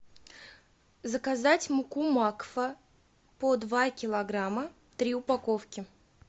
заказать муку макфа по два килограмма три упаковки